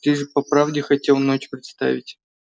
ты же по правде хотел ночь представить